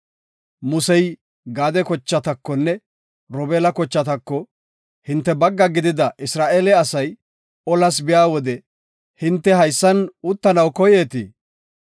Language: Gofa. Musey Gaade kochatakonne Robeela kochatako, “Hinte bagga gidida Isra7eele asay olas biya wode hinte haysan uttanaw koyeetii?